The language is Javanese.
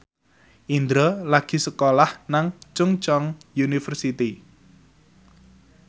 Indro lagi sekolah nang Chungceong University